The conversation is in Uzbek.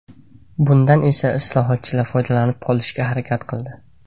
Bundan esa islohotchilar foydalanib qolishga harakat qildi.